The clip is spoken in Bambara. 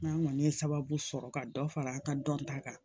N'an kɔni ye sababu sɔrɔ ka dɔ fara an ka dɔnta kan